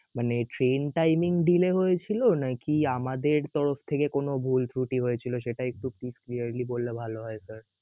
মানে train timing delay হয়েছিল নাকি আমাদের তরফ থেকে কোন ভুলত্রুটি হয়েছিল সেটা একটু please clearly বললে ভাল হয় sir